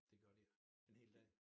Det gjorde de ikke en hel dag